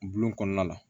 Bulon kɔnɔna la